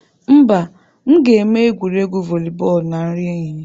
Mba, m ga-eme egwuregwu voli bọọlụ na nri ehihie.